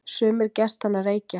Sumir gestanna reykja.